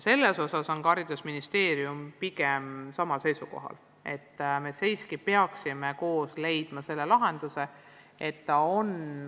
Sellel seisukohal on ka haridusministeerium ja me peaksime koos leidma sellele lahenduse.